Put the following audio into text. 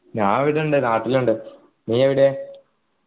ഞാൻ ഇവിടെ ഉണ്ട് നാട്ടില്ണ്ട് നീ എവിടെ